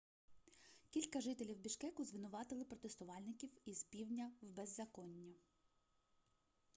кілька жителів бішкеку звинуватили протестувальників із півдня в беззаконні